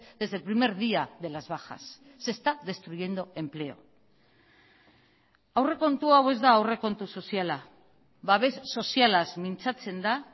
desde el primer día de las bajas se está destruyendo empleo aurrekontu hau ez da aurrekontu soziala babes sozialaz mintzatzen da